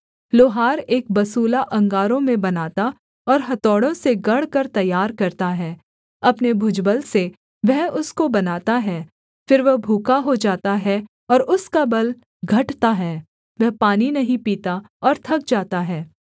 लोहार एक बसूला अंगारों में बनाता और हथौड़ों से गढ़कर तैयार करता है अपने भुजबल से वह उसको बनाता है फिर वह भूखा हो जाता है और उसका बल घटता है वह पानी नहीं पीता और थक जाता है